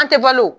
An tɛ balo